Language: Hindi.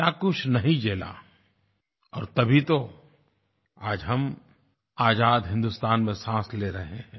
क्या कुछ नहीं झेला और तभी तो आज हम आज़ाद हिन्दुस्तान में सांस ले रहे हैं